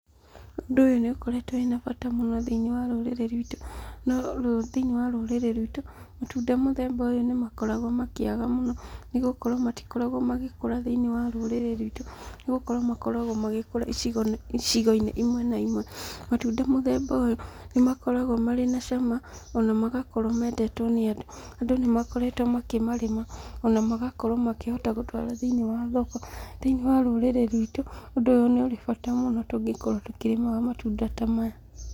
Ũndũ ũyũ nĩ ũkoretwo wĩ na bata mũno thĩiniĩ wa rũrĩrĩ rwitũ, no thĩinĩ wa rũrĩrĩ rwitũ, matunda mũthemba ũyũ nĩ makoragwo makĩaga mũno, nĩ gũkorwo matikoragwo magĩkũra thĩiniĩ wa rũrĩrĩ rwitũ, nĩ gũkorwo makoragwo magĩkũra icigo-inĩ imwe na imwe, matunda mũthemba ũyũ, nĩ makoragwo marĩ na cama, ona magakorwo mendetwo nĩ andũ, andũ nĩ makoretwo makĩmarĩma, ona magakorwo makĩhota gũtwara thĩiniĩ wa thoko, thĩinĩ wa rũrĩrĩ rwitũ, ũndũ ũyũ nĩ ũrĩ bata mũno tũngĩkorwo tũkĩrĩmaga matunda ta maya.